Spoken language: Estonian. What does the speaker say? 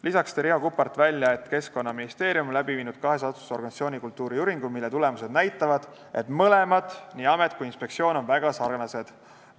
Lisaks tõi Riho Kuppart välja, et Keskkonnaministeerium on kahes asutuses teinud organisatsioonikultuuri uuringu, mille tulemused näitavad, et amet ja inspektsioon on väga sarnased.